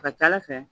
A ka ca ala fɛ